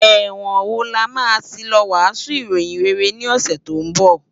Èwòn wó làmá ti ló wàsún iróyin réré ni òsè tó n bò?